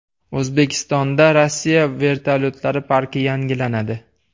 O‘zbekistonda Rossiya vertolyotlari parki yangilanadi.